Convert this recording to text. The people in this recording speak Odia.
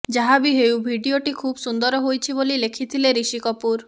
ଯାହା ବି ହେଉ ଭିଡିଓଟି ଖୁବ ସୁନ୍ଦର ହୋଇଛି ବୋଲି ଲେଖିଥିଲେ ଋଷି କପୁର